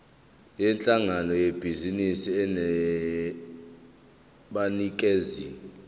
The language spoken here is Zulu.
yinhlangano yebhizinisi enabanikazi